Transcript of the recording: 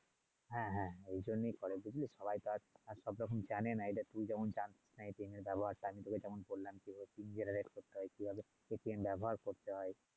হ্যাঁ হ্যাঁ এই জন্যই ঘরের বিবি সবাই তো আর সব রকম জানে না এডা তুই যেমন চাস না এর ব্যবহারটা ঠিক আছে আসলেই তার জন্য বললাম এগুলো কিভাবে হয় কিভাবে ব্যবহার করতে হয়